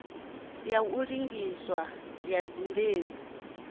ya u linganyiswa ha dzimbeu